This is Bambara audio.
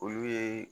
Olu ye